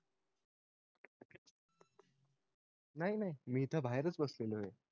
नाय नाय मी इथे बाहेरच बसलोय